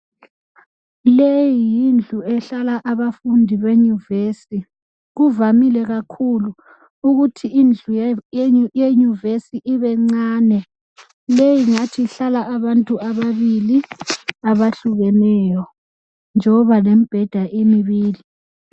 Leyi yindlu ehlala abafundi benyuvesi kuvamile kakhulu ukuthi indlu yenyuvesi ibencabe leyi ingathi ihlala abantu ababili abahlukeneyo njoba lemibheda imibili.